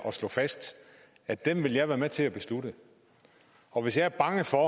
at slå fast at den vil jeg være med til at beslutte og hvis jeg er bange for